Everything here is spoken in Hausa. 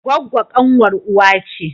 Gwaggwo kanwar uwa ce